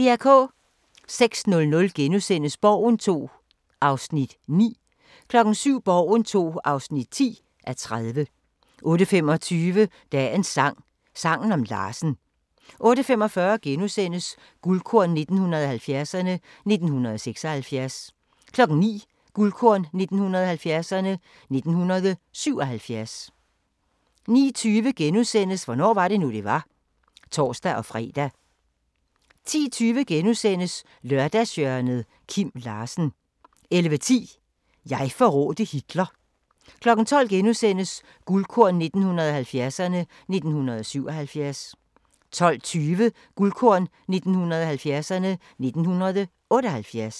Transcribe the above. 06:00: Borgen II (9:30)* 07:00: Borgen II (10:30) 08:25: Dagens sang: Sangen om Larsen 08:45: Guldkorn 1970'erne: 1976 * 09:00: Guldkorn 1970'erne: 1977 * 09:20: Hvornår var det nu, det var? *(tor-fre) 10:20: Lørdagshjørnet – Kim Larsen * 11:10: Jeg forrådte Hitler 12:00: Guldkorn 1970'erne: 1977 * 12:20: Guldkorn 1970'erne: 1978